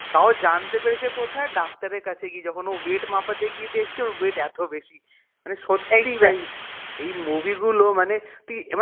তাও জানতে পেরেছে কোথায় ডাক্তারের কাছে গিয়ে যখন ও weight মাপতে গিয়ে দেখছে ওর weight এত বেশি মানে সত্যি এই movie গুলো মানে সত্যি